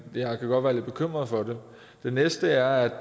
jeg kan godt være lidt bekymret for det den næste er at